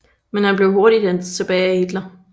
Men han blev hurtigt hentet tilbage af Hitler